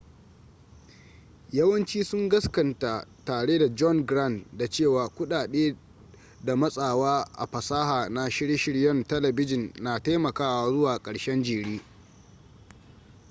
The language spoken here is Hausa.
yawanci sun gaskanta tare da john grant da cewa kudade da matsawa a fasaha na shirye-shiryen talabijin na taimakawa zuwa karshen jere